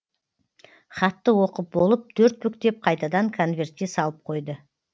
хатты оқып болып төрт бүктеп қайтадан конвертке салып қойды